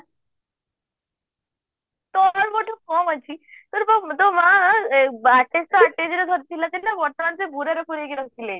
ତମେ ମୋଠୁ କଣ ଅଛି ତତେ ପା ତୋ ମା ରଖିଥିଲେ ବି